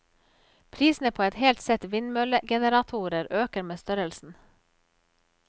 Prisene på et helt sett vindmøllegeneratorer øker med størrelsen.